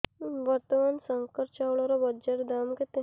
ବର୍ତ୍ତମାନ ଶଙ୍କର ଚାଉଳର ବଜାର ଦାମ୍ କେତେ